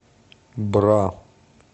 бра